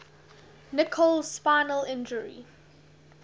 nicholls spinal injury